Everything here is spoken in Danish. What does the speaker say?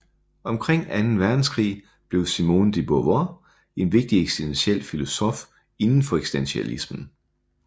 Omkring anden verdenskrig blev Simone de Beauvoir en vigtig eksistentiel filosof inden for eksistentialismen